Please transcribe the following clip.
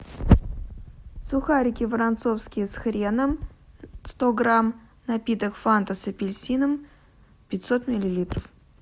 сухарики воронцовские с хреном сто грамм напиток фанта с апельсином пятьсот миллилитров